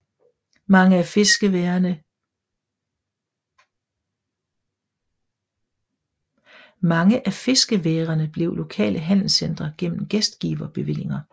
Mange af fiskeværene blev lokale handelscentre gennem gæstgiverbevillinger